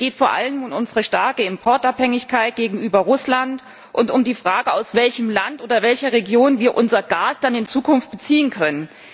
Es geht vor allem um unsere starke Importabhängigkeit gegenüber Russland und um die Frage, aus welchem Land oder welcher Region wir unser Gas dann in Zukunft beziehen können.